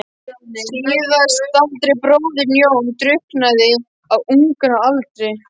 Síðasttaldi bróðirinn, Jón, drukknaði á unga aldri.